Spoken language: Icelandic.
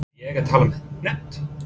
Er ég að tala um hefnd?